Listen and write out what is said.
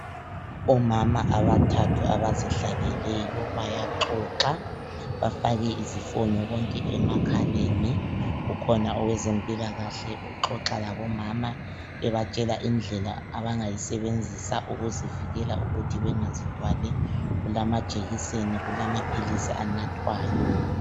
Omama abathathu abazihlaleleyo bayaxoxa, bafake izifonyo bonke emakhaleni. Kukhona owezempilakahle uxoxa labomama, ebatshela indlela abangayisebenzisa ukuzivikela ukuthi bengazithwali. Kulamajekiseni, kulamaphilisi anathwayo.